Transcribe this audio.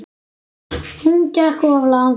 Hún gekk of langt.